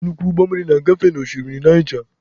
Nnukwu ụgbọ mmiri na-agafe n'oshimmiri Naija.